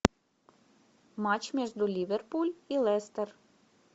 матч между ливерпуль и лестер